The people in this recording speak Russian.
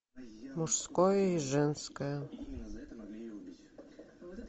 мужское и женское